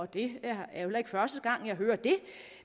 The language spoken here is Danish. det er heller ikke første gang jeg hører det